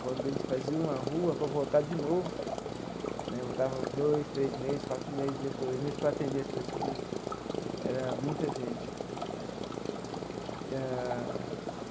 Quando a gente fazia uma rua para voltar de novo né, voltava dois, três meses, quatro meses depois, mesmo para atender as pessoas, era muita gente ah.